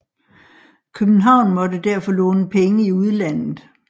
København måtte derfor låne penge i udlandet